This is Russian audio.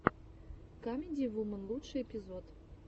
камеди вуман лучший эпизод